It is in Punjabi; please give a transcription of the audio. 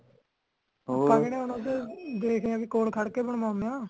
ਤਗੜ੍ਹੇ ਹੋਣ ਵਾਸਤੇ ਦੇਖਦੇ ਹੈ ਕੋਲ ਖੜ ਕੇ ਬਣਵਾਉਂਦੇ ਹਾ।